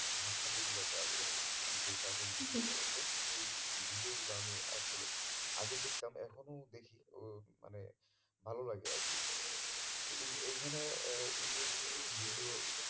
ভাষা যেগুলোতে আছে যেই cartoon গুলাতে সেই video গুলো আমি আসলে আগে দেখতাম এখনো দেখি ও মানে ভালো লাগে আর কি তো এইখানে আহ ইংরেজি video